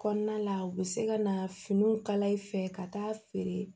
Kɔnɔna la u bɛ se ka na finiw kala i fɛ ka taa feere